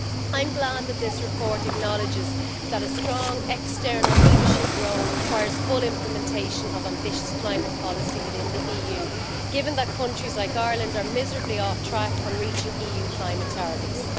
I'm glad that this report acknowledges that a strong external leadership role requires full implementation of ambitious climate policy within the EU, given that countries like Ireland are miserably off track on reaching EU climate targets.